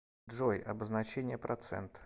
джой обозначение процент